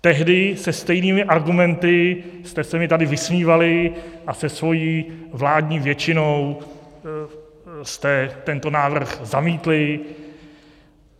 Tehdy se stejnými argumenty jste se mi tady vysmívali a se svou vládní většinou jste tento návrh zamítli.